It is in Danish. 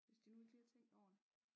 Hvis de nu ikke lige har tænkt over det